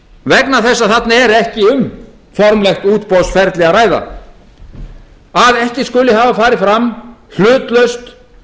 vegna þess að þarna er ekki um formlegt útboðsferli að ræða að ekki skuli hafa farið fram hlutlaust